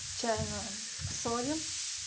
чайную соли